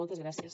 moltes gràcies